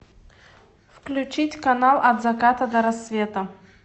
включить канал от заката до рассвета